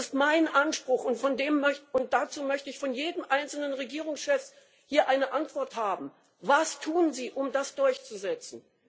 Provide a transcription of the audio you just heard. Das ist mein Anspruch, und dazu möchte ich von jedem einzelnen Regierungschef hier eine Antwort haben Was tun Sie, um das durchzusetzen?